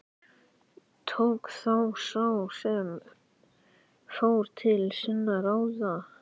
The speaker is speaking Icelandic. Tók þá sá sem fór til sinna ráða.